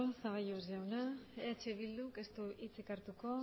zaballos jauna eh bilduk ez du hitzik hartuko